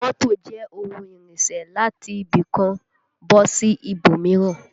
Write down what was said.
Mọ́tò jẹ́ ohun ìrìnsẹ̀ láti ibì kan bọ́ sí ibòmíràn